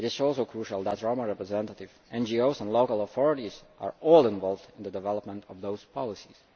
It is also crucial that Roma representatives, NGOs and local authorities are all involved in the development of those policies.